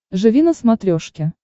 живи на смотрешке